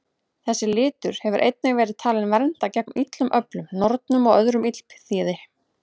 Þessi litur hefur einnig verið talinn vernda gegn illum öflum, nornum og öðru illþýði.